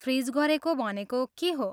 Fridge गरेको भनेको के हो?